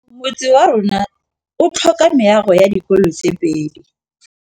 Motse warona o tlhoka meago ya dikolô tse pedi.